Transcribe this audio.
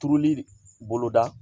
Turuli bolo da